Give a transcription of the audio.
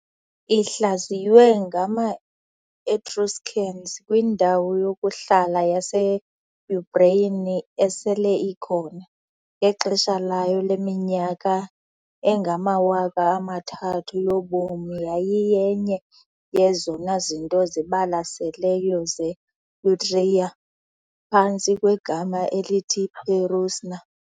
Ihlaziywe ngama- Etruscans kwindawo yokuhlala yase-Umbrian esele ikhona, ngexesha layo leminyaka engamawaka amathathu yobomi yayiyenye yezona zinto zibalaseleyo ze-Etruria phantsi kwegama elithi "Perusna" .